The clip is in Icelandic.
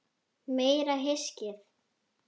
Meira hyskið!